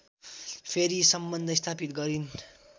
फेरि सम्बन्ध स्थापित गरिन्